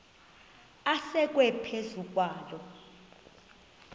asekwe phezu kwaloo